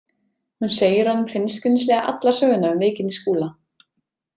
Hún segir honum hreinskilnislega alla söguna um veikindi Skúla.